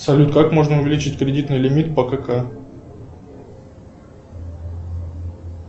салют как можно увеличить кредитный лимит по кк